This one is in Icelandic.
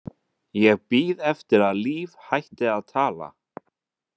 ég bíð eftir að Líf hætti að tala.